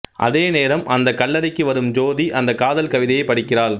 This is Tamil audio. அதே நேரம் அந்தக் கல்லறைக்கு வரும் ஜோதி அந்த காதல் கவிதையை படிக்கிறாள்